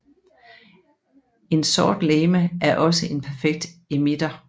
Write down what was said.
En sort legeme er også en perfekt emitter